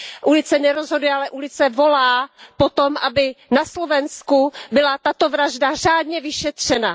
Ulice nerozhoduje, ale ulice volá po tom, aby na Slovensku byla tato vražda řádně vyšetřena.